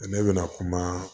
Ne bɛna kuma